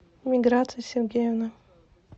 миграция сергеевна